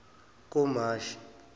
kumashi